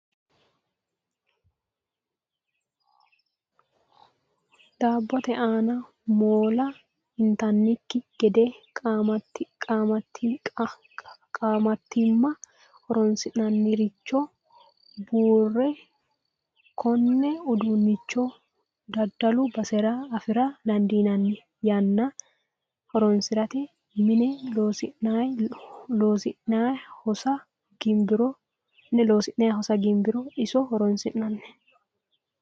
Daabbote aana moola intannikki gede qaamattimma horonsi'nanniricho buurroyi. Konne uduunnicho daddalu basera afira dandiinnanni. Yanna horonsirate mine loosi'nayi hosa ginbiro iso horonsi'nanni.